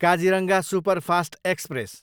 Kaziranga superfast express